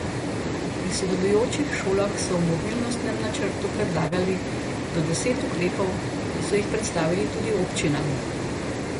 Pri sodelujočih šolah so v mobilnostnem načrtu predlagali po deset ukrepov, ki so jih predstavili tudi občinam.